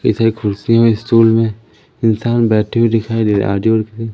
इधर कुर्सी और स्टूल में इंसान बैठे हुए दिखाई दे रहा आजू बाजू--